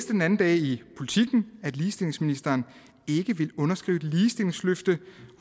den anden dag i politiken at ligestillingsministeren ikke vil underskrive ligestillingsløfte